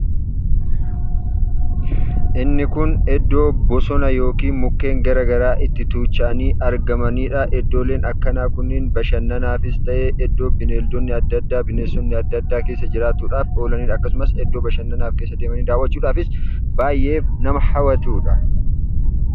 Inni kun iddoo bosona yookiin mukkeen adda addaa itti tuucha'anii argamaniidha. Iddooleen akkanaa kunniin bashannanaafis ta'e iddoo bineeldonni adda addaa, bineensonni adda addaa keessa jiraatuudha. Akkasumas iddoo bashannanaaf keessa deemanii daawwachuudhaafis baay'ee nama hawwatuudha.